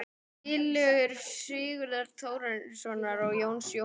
Tillögur Sigurðar Þórarinssonar og Jóns Jónssonar